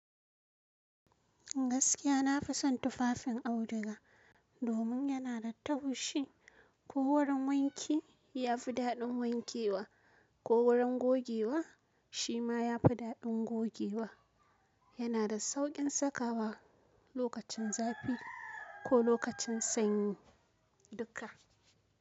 Gaskiya nafi son tufafin auduga domin yana da taushi. Ko wurin wanki ya fi daɗin wankewa ko wurin gogewa shi ma ya fi daɗin gogewa. Yana da sauƙin sakawa lokacin zafi ko lokacin sanyi duka.